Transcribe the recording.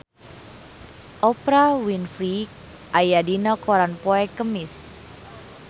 Oprah Winfrey aya dina koran poe Kemis